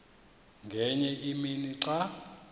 ngenye imini xa